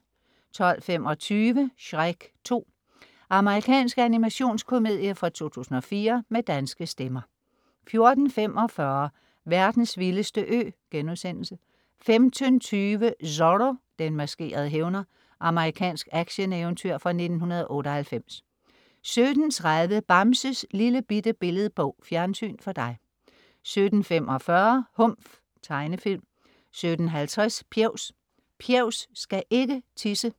12.25 Shrek 2. Amerikansk animationskomedie fra 2004 med danske stemmer 14.45 Verdens vildeste ø* 15.20 Zorro. Den maskerede hævner. Amerikansk action-eventyr fra 1998 17.30 Bamses Lillebitte Billedbog. Fjernsyn for dig 17.45 Humf. Tegnefilm 17.50 Pjevs. Pjevs skal ikke tisse